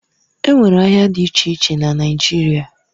Enwere ahịa dị iche iche na Naijiria